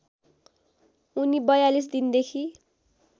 उनी ४२ दिनदेखि